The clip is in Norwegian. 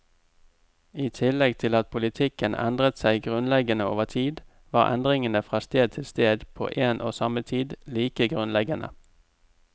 I tillegg til at politikken endret seg grunnleggende over tid, var endringene fra sted til sted på en og samme tid like grunnleggende.